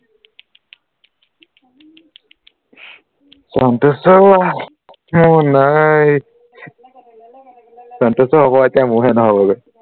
সন্তোষ ই মোৰ নাই সন্তোষৰ হব এতিয়া মোৰহে নহবগৈ